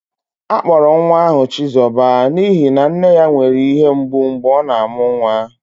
Akpọrọ nwa ahụ chizoba n'ihi na nne ya nwere ihe mgbu mgbe ọ na-amụ nwa